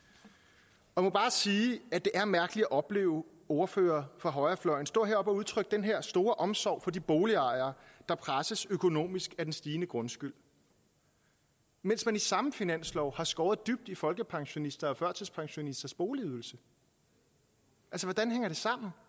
og jeg må bare sige at det er mærkeligt at opleve ordførere fra højrefløjen stå heroppe og udtrykke den her store omsorg for de boligejere der presses økonomisk af den stigende grundskyld mens man i samme finanslov har skåret dybt i folkepensionisters og førtidspensionisters boligydelse altså